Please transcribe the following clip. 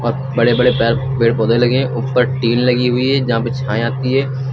बड़े बड़े पैर पेड़ पौधे लगे है ऊपर टीन लगी हुई है जहां पे छाये आती है।